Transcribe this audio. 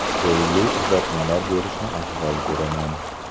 Golli uzatmalar berishni afzal ko‘raman.